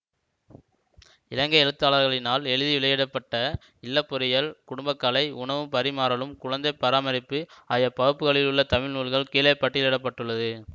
இலங்கை எழுத்தாளர்களினால் எழுதி வெளியிட பட்ட இல்லப்பொருளியல் குடும்பக்கலை உணவும் பரிமாறலும் குழந்தை பராமரிப்பு ஆகிய பகுப்புகளிலுள்ள தமிழ் நூல்கள் கீழே பட்டியலிட பட்டுள்ளது